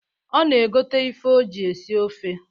Ọ na egote ife o ji esi ofe.